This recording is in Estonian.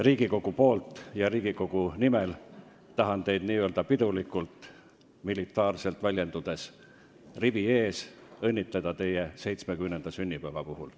Riigikogu poolt ja Riigikogu nimel tahan teid militaarselt väljendudes rivi ees pidulikult õnnitleda teie 70. sünnipäeva puhul.